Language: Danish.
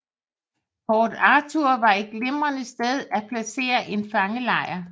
Port Arthur var et glimrende sted at placere en fangelejr